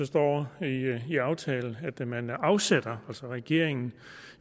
står i aftalen at man afsætter altså regeringen